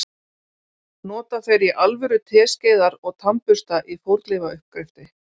nota þeir í alvöru teskeiðar og tannbursta í fornleifauppgreftri